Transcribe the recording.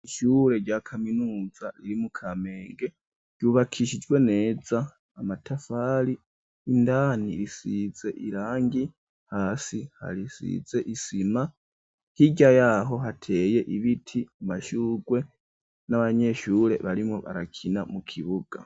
Ishure rya kaminuza riri mu Kamenge ryubakishijwe neza amatafari indani risize irangi hasi hasize isima hirya yaho hateye ibiti amashugwe n'abanyeshure barimwo barakina mu kibuga.